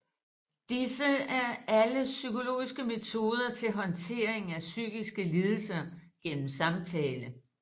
Disse er alle psykologiske metoder til håndtering af psykiske lidelser gennem samtale